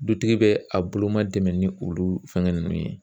Dutigi bɛ a bolo ma dɛmɛ ni olu fɛngɛ ninnu ye.